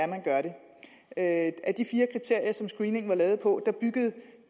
man gør det af de fire kriterier som screeningen var lavet på byggede